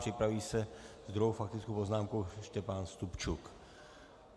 Připraví se s druhou faktickou poznámkou Štěpán Stupčuk.